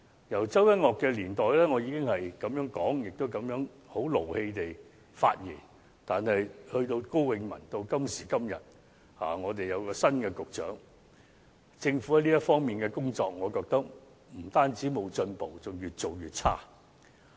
由周一嶽的年代，我已經提出這樣的建議，在發言時也曾相當動氣，但其後從高永文上任，直至今時今日政府的新任局長上任，我認為政府在這方面的工作不單沒有進步，更是越做越差。